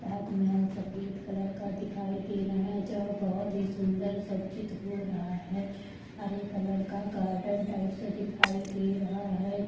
ताज महल सफेद कलर का दिखाई दे रहा है जहां बहुत ही सुंदर सज्जित हो रहा है हरे कलर का गार्डन टाइप् से दिखाई दे रहा है।